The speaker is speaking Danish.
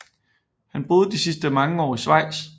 Han boede de sidste mange år i Schweiz